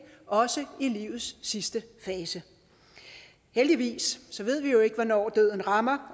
også i livets sidste fase heldigvis ved vi jo ikke hvornår døden rammer